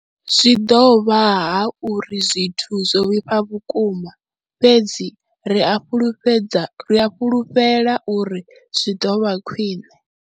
Zwi ḓo vha hu uri zwithu zwo vhifha vhukuma, fhedzi ri a fhulufhedza ri a fhulufhela uri zwi ḓo vha khwiṋe.